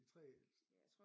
De 3 ældste